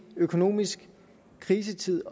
økonomisk krisetid